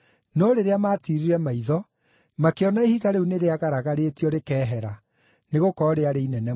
No rĩrĩa maatiirire maitho, makĩona ihiga rĩu nĩrĩagaragarĩtio rĩkehera, nĩgũkorwo rĩarĩ inene mũno.